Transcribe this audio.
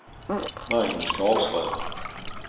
Magnus Karlström